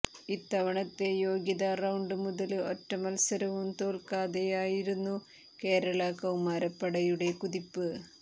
ഇത്തവണത്തെ യോഗ്യതാ റൌണ്ട് മുതല് ഒറ്റമത്സരവും തോല്ക്കാതെയായിരുന്നു കേരള കൌമാരപ്പടയുടെ കുതിപ്പ്